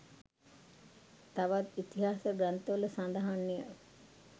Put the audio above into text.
තවත් ඉතිහාස ග්‍රන්ථවල සඳහන්ය.